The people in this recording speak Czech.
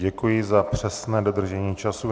Děkuji za přesné dodržení času.